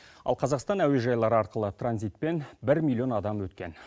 ал қазақстан әуежайлары арқылы транзитпен бір миллион адам өткен